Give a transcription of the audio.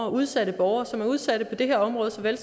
af udsatte borgere som er udsatte på det her område såvel